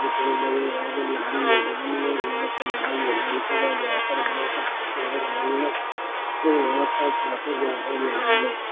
लाल मैदान है यहाँ पर लाल मैदान के बाद और यहाँ पर काफी ज्यादा मैदान हैं।